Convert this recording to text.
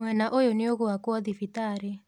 Mwena ũyũ nĩũgũakũo thibitarĩ.